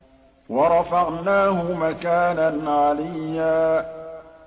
وَرَفَعْنَاهُ مَكَانًا عَلِيًّا